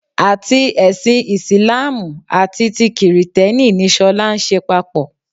Àti ẹṣin Ìsìláàmù àti ti kìrìtẹ́nì ni ṣọlá ń ṣe papọ̀